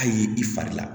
Hali i fari la